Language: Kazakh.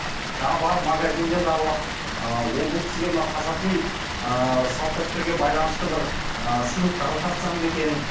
жаңағы барып магазиндерді аралап ыыы ол бұл кісіге мына қазақи ыыы салт дәстүрге байланысты бір ыыы сыйлықтарды тартсам ба екен